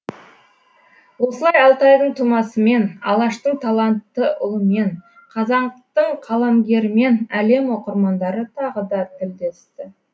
осылай алтайдың тумасымен алаштың талантты ұлымен қазақтың қаламгерімен әлем оқырмандары тағы да тілдесті